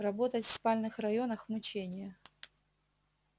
работать в спальных районах мучение